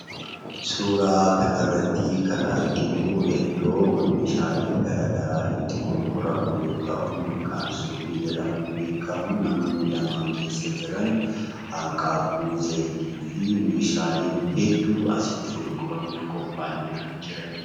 Suuraa kanarratti kan arginu iddoo meeshaaleen garaagaraa itti gurguramu yoo ta'u, maqaan suuqii jedhamuun beekamu namni lama keessa jiran hanqaaquu zayitii fi meeshaalee hedduu asitti gurguramuuf qophaa'anii jiran jechuudha.